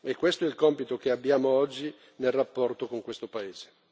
È questo è il compito che abbiamo oggi nel rapporto con questo paese.